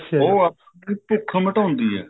ਉਹ ਆਪਣੀ ਭੁੱਖ ਮਿਟਾਉਂਦੀ ਹੈ